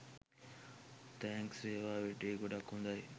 Thanks වේවා! වැඩේ ගොඩක් හොදයි